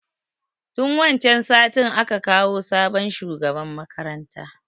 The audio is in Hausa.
Tun wancan satin a ka kawo sabon shugaban makaranta.